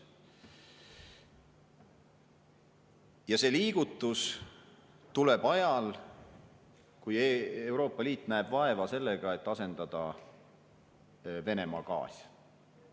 Ja see liigutus tuleb ajal, kui Euroopa Liit näeb vaeva sellega, et asendada Venemaa gaasi.